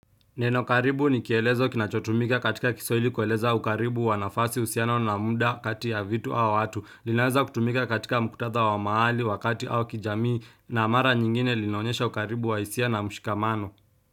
Neno karibu ni kielezo kinachotumika katika kiswahili kueleza ukaribu wanafasi uhusiano na muda kati ya vitu au watu, linaweza kutumika katika mkutadha wa mahali wakati au kijamii na mara nyingine linaonyesha ukaribu wa hisia na mshikamano.